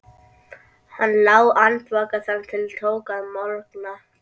Hann lá andvaka þar til tók að morgna.